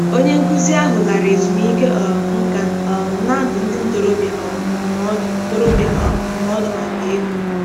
Onye nkuzi ahụ lara ezumike um nka um na-adụ ndị ntorobịa um ndụmọdụ ntorobịa um ndụmọdụ maka ego.